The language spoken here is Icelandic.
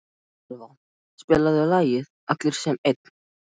Elva, spilaðu lagið „Allir sem einn“.